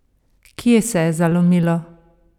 Kje se je zalomilo?